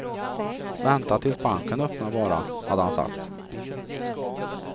Vänta tills banken öppnar bara, hade han sagt.